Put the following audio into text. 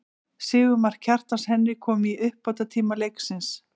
Sigurmark, Kjartans Henry kom í uppbótartíma leiksins.